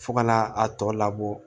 Fo ka na a tɔ labɔ